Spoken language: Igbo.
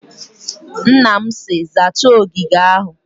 Nna m si, zaacha ogige ahụ!